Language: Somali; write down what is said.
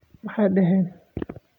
Ma dhihin